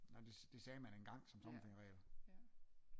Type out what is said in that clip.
Nej det sagde man engang som tommelfingerregel